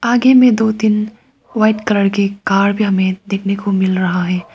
आगे में दो तीन व्हाइट कलर के कार हमें देखने को मिल रहा है।